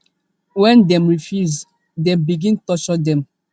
wen dem refuse dem begin torture dem